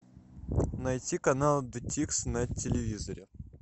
найти канал джетикс на телевизоре